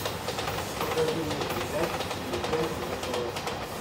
покажи мне передачу тв центр на тв